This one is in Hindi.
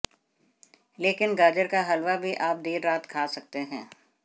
लेकिन गाजर का हलवा भी आप देर रात खा सकते हैं